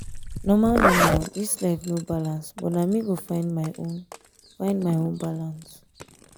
normal normal this life no balance but na me go find my own find my own balance.